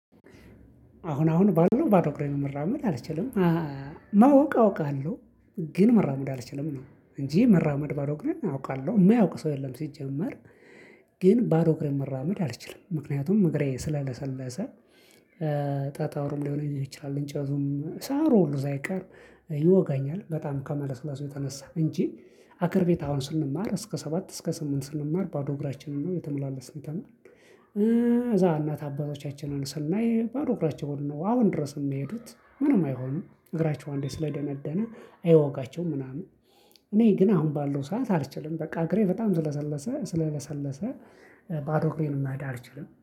አሁን አሁን ባለው ባዶ እግሬን መራመድ አልችልም። ማወቅ አውቃለሁ። ግን መራመድ አልችልም ነው እንጂ መራመድ ባዶ እግሬን አውቃለሁ የማያውቅ ሰው የለም። ሲጀመር። ግን ባዶ እግሬን መራመድ አልችልም ምክንያቱም እግሬ ስለ ለሰለሰ። ጠጠሩም ሊሆን ይችላል እንጨቱም ሳሩ ሁሉ ሳይቀርም ይወጋኛል። በጣም ከመለስለሱ የተነሳ እንጂ አግር ቤት አሁን ስንማር እስከ ሰባት እስከ ስምንት ስንማር ባዶ እግራችንን ነው እየተመላለስን የተማርን። እዛ እናት አባቶቻችንን ስናይ ባዶ እግራቸውን ነው አሁን ድረስ የሚሄዱት። ምንም አይሆኑም እግራቸው አንዴ ስለደነደነ አይወጋቸውም ምናምን። እኔ ግን አሁን ባለው ሰዓት አልችልም። በቃ እግሬ በጣም ስለ ለሰለሰ ባዶ እግሬን መሄድ አልችልም